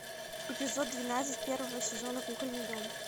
эпизод двенадцать первого сезона кукольный дом